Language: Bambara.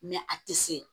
a tɛ se